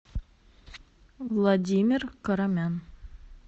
владимир карамян